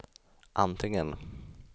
antingen